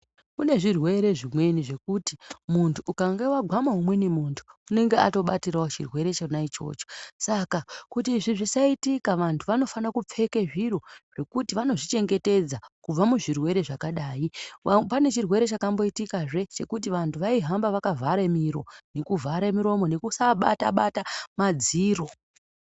Kune zvirwere zvimweni zvekuti, munthu ukange wagwama umweni munthu, unenge watobatirawo chirwere chona ichocho, kuti izvi zvisaitika, vanthu vanofana kupfeke zviro zvekuti vanozvichengetedza kubva muzvirwere zvakadai. Pane chirwere chakamboitikazve, chekuti vanthu vaihamba vakavhare miro nekuvhare muromo nekusaa bata-bata madziro.